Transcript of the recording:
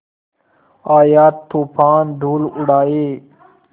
आया तूफ़ान धूल उड़ाए